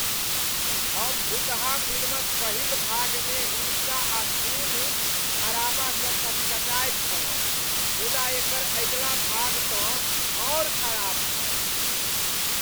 हम भुतहा फिल्मक पहिल भागमे हिंसा आ खून खराबासँ कचकचायल छलहुँ मुदा एकर अगिला भागतँ आर खराब छल।